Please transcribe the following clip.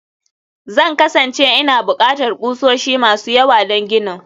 Zan kasance ina buƙatar ƙusoshi masu yawa don ginin